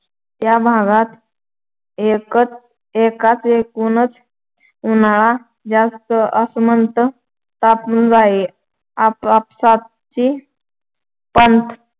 त्या भागात एक एकूणच उन्हाळा जास्त आसमंत तापून जाई. आसपासची पंत